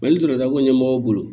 ni dɔgɔtɔrɔ ko ɲɛmɔgɔw bolo